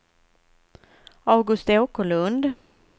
August Åkerlund